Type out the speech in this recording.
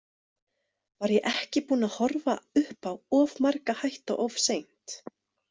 Var ég ekki búin að horfa upp á of marga hætta of seint?